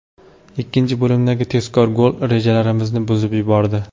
Ikkinchi bo‘limdagi tezkor gol rejalarimizni buzib yubordi.